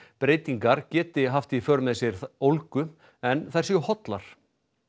breytingar geti haft í för með sér ólgu en þær séu hollar